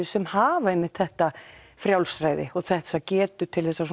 sem hafa einmitt þetta frjálsræði og þessa getu til að